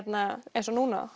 eins og núna